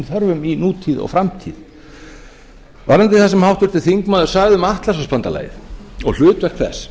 þörfum í nútíð og framtíð varðandi það sem háttvirtur þingmaður sagði um atlantshafsbandalagið og hlutverk þess